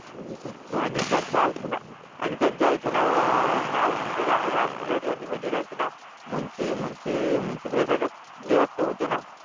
आणि त्यांच्या आईचे नाव आणि त्यांच्या आईचे नाव अह नाव म्हणजे रामदुलारी आणि मुलांचे नाव मुंशी मुंशी मुंशी प्रसाद श्रीवास्तव होते ना